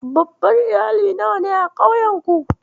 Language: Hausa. Babban Iyali nawa ne a ƙauyenku?